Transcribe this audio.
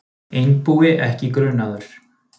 Einbúi ekki grunaður